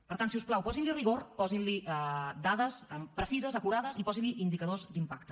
per tant si us plau posin li rigor posin li dades precises acurades i posin li indicadors d’impacte